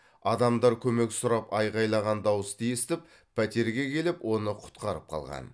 адамдар көмек сұрап айғайлаған дауысты естіп пәтерге келіп оны құтқарып қалған